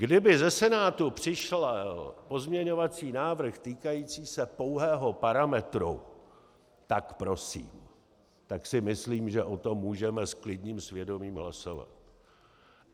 Kdyby ze Senátu přišel pozměňovací návrh týkající se pouhého parametru, tak prosím, tak si myslím, že o tom můžeme s klidným svědomím hlasovat.